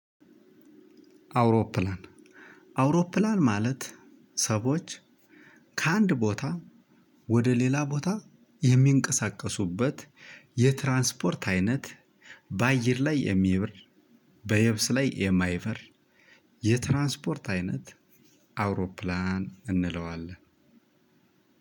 አውሮፕላን አውሮፕላን ማለት ሰዎች ከአንድ ቦታ ወደ ሌላ ቦታ የሚንቀሳቀሱበት የትራንስፖርት አይነት በአየር ላይ የሚበር በየብስ ላይ የማይበር የትራንስፖርት አይነት አውሮፕላን እንለዋለን።